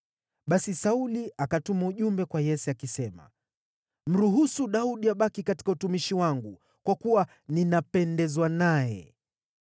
Basi Sauli akatuma ujumbe kwa Yese, akisema, “Mruhusu Daudi abaki katika utumishi wangu, kwa kuwa ninapendezwa naye.”